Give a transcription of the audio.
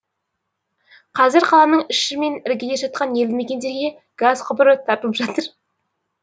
қазір қаланың іші мен іргелес жатқан елді мекендерге газ құбыры тартылып жатыр